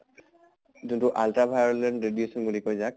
যোনটো ultra violet radiation বুলি কয় যাক